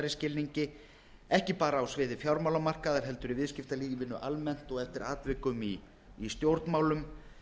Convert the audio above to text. skilningi ekki bara á sviði fjármálamarkaðar heldur í viðskiptalífinu almennt og eftir atvikum í stjórnmálum